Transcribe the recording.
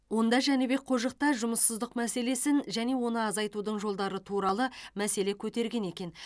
онда жәнібек қожық та жұмыссыздық мәселесін және оны азайтудың жолдары туралы мәселе көтерген екен